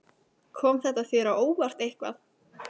Kom þetta þér á óvart eitthvað?